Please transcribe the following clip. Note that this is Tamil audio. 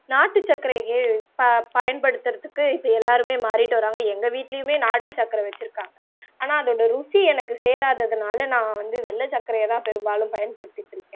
நாட்டு சக்கரையே ப பயன்படுத்துவதற்கு இப்ப எல்லாருமே மாறிக்கிட்டு வராங்க எங்க வீட்டிலேமே நாட்டு சக்கர வெச்சிருக்காங்க ஆனா அதோட ருசி எனக்கு சேராததுனால நான் வந்து வெள்ளம் சக்கரையை தான் பெருபாலும் பயன்படுத்திட்டு இருக்கேன்